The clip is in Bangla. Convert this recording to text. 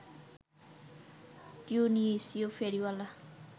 তিউনিসীয় ফেরিওয়ালা